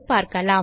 2 காண் 5